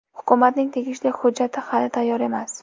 Hukumatning tegishli hujjati hali tayyor emas.